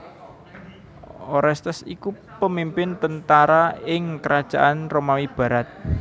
Orestes iku pemimpin tentara ing Krajaan Romawi barat